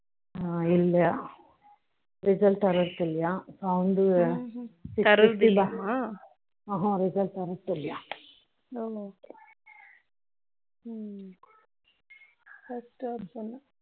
foreign language